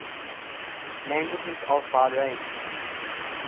languages of bahrain